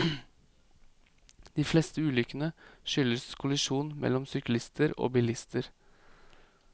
De fleste ulykkene skyldes kollisjon mellom syklister og bilister.